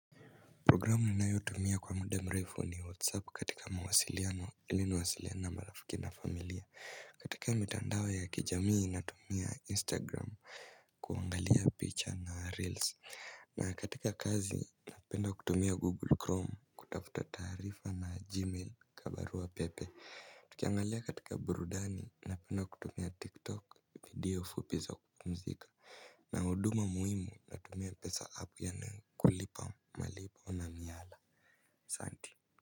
Programu ninayotumia kwa muda mrefu ni whatsapp katika mawasiliano iliniwasiliane marafiki na familia. Katika mitandao ya kijamii natumia instagram kuangalia picha na reils. Na katika kazi napenda kutumia google chrome kutafuta taarifa na gmail kama barua pepe. Tukiangalia katika burudani napenda kutumia tiktok video fupi za kumzika. Na huduma muhimu na tumia pesa app yani kulipa malipo na miyala asante.